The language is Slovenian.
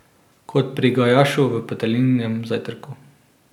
Kot pri Gajašu v Petelinjem zajtrku.